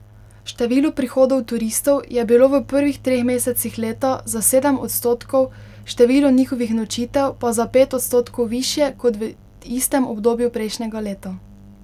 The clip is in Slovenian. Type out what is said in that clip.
Število prihodov turistov je bilo v prvih treh mesecih leta za sedem odstotkov, število njihovih nočitev pa za pet odstotkov višje kot v istem obdobju prejšnjega leta.